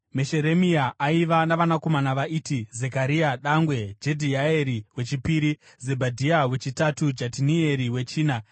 Mesheremia aiva navanakomana vaiti: Zekaria dangwe, Jedhiaeri wechipiri, Zebhadhia wechitatu, Jatinieri wechina,